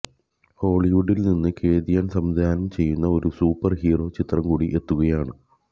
ഹോളിവുഡില് നിന്ന് Cathy Yan സംവിധാനം ചെയ്യുന്ന ഒരു സൂപ്പര് ഹീറോ ചിത്രം കൂടി എത്തുകയാണ്